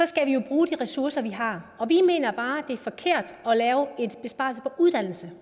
skal vi jo bruge de ressourcer vi har og vi mener bare at det er forkert at lave en besparelse på uddannelse